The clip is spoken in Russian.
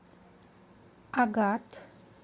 агат